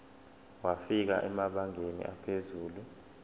wafika emabangeni aphezulu